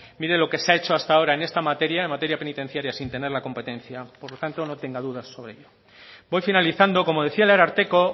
mire lo que se ha hecho hasta ahora en esta materia en materia penitenciaria sin tener la competencia por lo tanto no tenga dudas sobre ello voy finalizando como decía el ararteko